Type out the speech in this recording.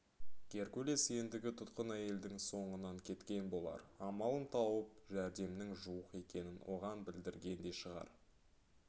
геркулес ендігі тұтқын әйелдің соңынан кеткен болар амалын тауып жәрдемнің жуық екенін оған білдірген де шығар